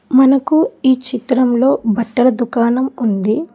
మనకు ఈ చిత్రంలో బట్టల దుకాణం ఉంది.